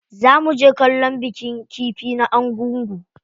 Za muje kallon bikin kifi na Argungu.